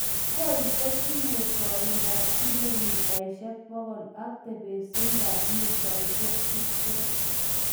Koi kot tinye koindap 100km ag tebesindap 20m.